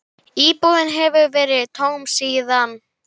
Íbúðin hefur verið tóm síðan.